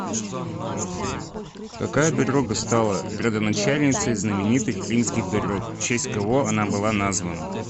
какая дорога стала родоначальницей знаменитых римских дорог в честь кого она была названа